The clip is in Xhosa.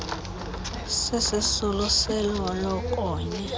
sisisulu selo lokonya